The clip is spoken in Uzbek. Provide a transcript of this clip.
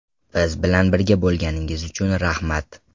Biz bilan birga bo‘lganingiz uchun rahmat!